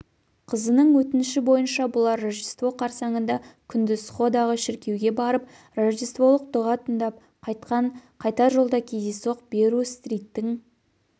қызының өтініші бйынша бұлар рождество қарсаңында күндіз сходағы шіркеуге барып рождестволық дұға тыңдап қайтқан қайтар жолда кездейсоқ берру-стриттің